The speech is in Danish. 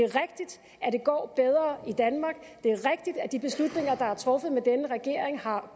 er det går bedre i danmark det er rigtigt at de beslutninger der er truffet med denne regering har